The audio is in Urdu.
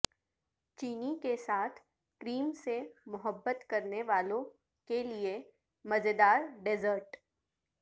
چینی کے ساتھ کریم سے محبت کرنے والوں کے لئے مزیدار ڈیسرٹ